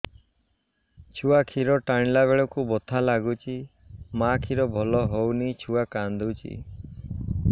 ଛୁଆ ଖିର ଟାଣିଲା ବେଳକୁ ବଥା ଲାଗୁଚି ମା ଖିର ଭଲ ହଉନି ଛୁଆ କାନ୍ଦୁଚି